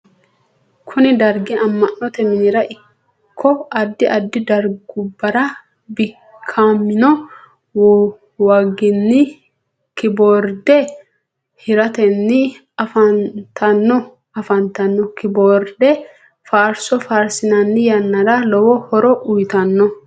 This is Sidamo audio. kuni dargi ama'note minira ikko addi addi dargubbara bikkamino waaginni kiboorde hiritanni afantanno. keboorde faarso faarisinanni yannara lowo horo uyitanno.